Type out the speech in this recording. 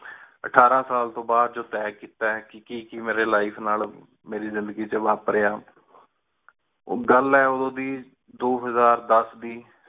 ਅਠਾਰਾਂ ਸਾਲ ਤੋ ਬਾਅਦ ਜੋ ਤੇਹ ਕੀਤਾ ਕੀ ਕੀ ਮੇਰੀ life ਨਾਲ ਮੇਰੀ ਜ਼ਿੰਦਗੀ ਏਚ ਵਾਪਰਿਆ। ਓਹ ਗਲ ਆ ਓਦੋ ਦੀ ਦੋ ਹਜ਼ਾਰ ਦਸ ਦੀ